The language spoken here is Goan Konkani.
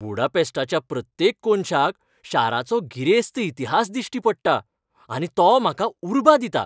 बुडापेस्टाच्या प्रत्येक कोनशाक शाराचो गिरेस्त इतिहास दिश्टी पडटा, आनी तो म्हाका उर्बा दिता.